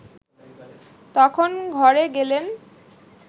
তখন ঘরে গেলেন